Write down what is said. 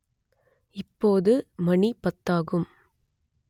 இப்போது மணி பத்தாகும்